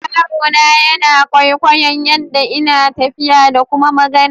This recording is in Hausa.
Yarona yana kwaikwayon yaɗɗa ina tafiya ɗa ƙuma magana.